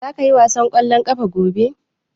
Za ka ƴi wasan kwallon ƙafa gobe?